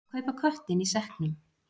Að kaupa köttinn í sekknum